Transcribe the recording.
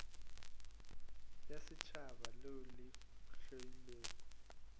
ya setšhaba leo le theilwego